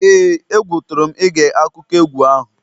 ee, egwu tụrụ m ige akụkọ egwu ahụ